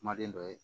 Kumaden dɔ ye